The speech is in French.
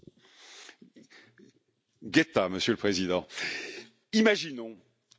Monsieur le Président, imaginons, espérons, rêvons un instant!